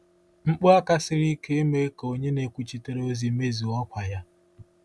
Mkpu aka siri ike emeghị ka onye na-ekwuchitere ozi mezue ọkwa ya.